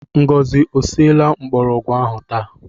Ngọzi e siela mgbọrọgwụ ahụ taa?